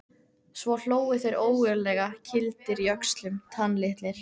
Svo hlógu þeir ógurlega, kýldir í öxlum, tannlitlir.